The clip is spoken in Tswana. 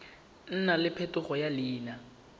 nna le phetogo ya leina